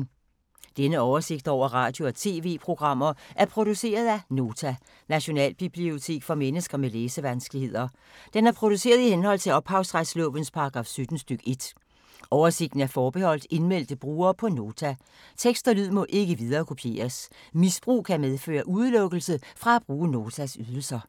Denne oversigt over radio og TV-programmer er produceret af Nota, Nationalbibliotek for mennesker med læsevanskeligheder. Den er produceret i henhold til ophavsretslovens paragraf 17 stk. 1. Oversigten er forbeholdt indmeldte brugere på Nota. Tekst og lyd må ikke viderekopieres. Misbrug kan medføre udelukkelse fra at bruge Notas ydelser.